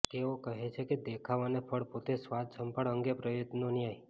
તેઓ કહે છે કે દેખાવ અને ફળ પોતે સ્વાદ સંભાળ અંગે પ્રયત્નો ન્યાય